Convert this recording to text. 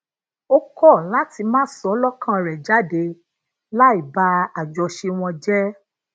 ó kó lati máa sọ lókàn rè jáde láì ba àjọṣe wọn jé